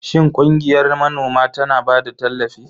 Shin ƙungiyar manoma tana ba da tallafi?